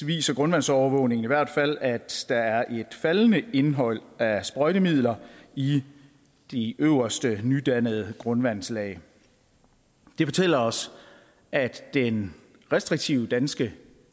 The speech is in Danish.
viser grundvandsovervågningen i hvert fald at der er et faldende indhold af sprøjtemidler i de øverste nydannede grundvandslag det fortæller os at den restriktive danske